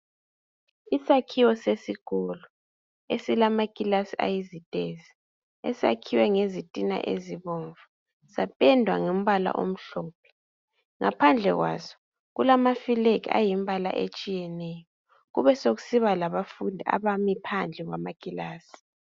Isakhiwo sesikolo, esilamakilasi ayizitezi. Esakhiwe ngezitina ezibomvu. Sapendwa ngombala omhlophe. Ngaphandle kwaso, kulamafilegi ayimimbala etshiyeneyo. Kube sokusiba labafundi, abami phandle kwamakilasi.